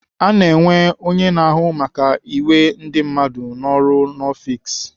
Ana enwe onye na-ahụ maka iwe ndị mmadụ n'ọrụ n'ọfiks.